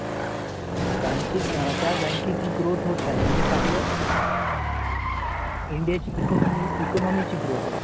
बँकेत आहे त्या बँकेची growth होत आहे. म्हणजेच आपल्या Indian economy growth होत आहे.